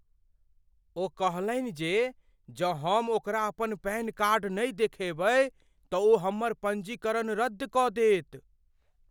ओ कहलनि जे जँ हम ओकरा अपन पैन कार्ड नहि देखाएबै तऽ ओ हमर पञ्जीकरण रद्द कऽ देत।